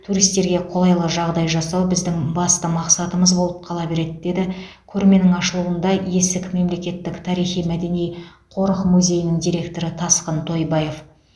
туристерге қолайлы жағдай жасау біздің басты мақсатымыз болып қала береді деді көрменің ашылуында есік мемлекеттік тарихи мәдени қорық музейінің директоры тасқын тойбаев